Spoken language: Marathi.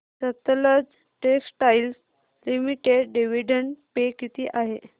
Sutlej textiles limited dividend pay किती आहे